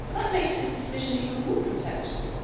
So that makes his decision even more contemptible.